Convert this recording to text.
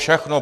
Všechno.